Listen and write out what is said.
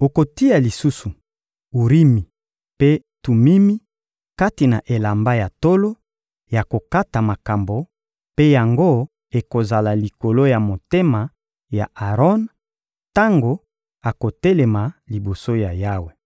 Okotia lisusu Urimi mpe Tumimi kati na elamba ya tolo ya kokata makambo mpe yango ekozala likolo ya motema ya Aron tango akotelema liboso ya Yawe.